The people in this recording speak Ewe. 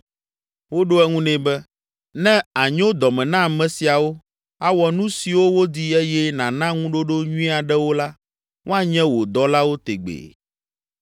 Woɖo eŋu nɛ be, “Ne ànyo dɔme na ame siawo, awɔ nu siwo wodi eye nàna ŋuɖoɖo nyui aɖewo la, woanye wò dɔlawo tegbee.”